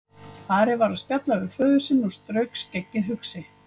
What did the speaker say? Ari var að spjalla við föður sinn og strauk skeggið hugsi.